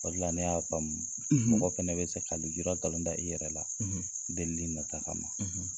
O de la ne y'a faamumu , mɔgɔ fana bɛ se ka nujura nkalon da i yɛrɛ la, deli nata ma